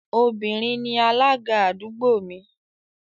Obìnrin ni alága àdúgbò mi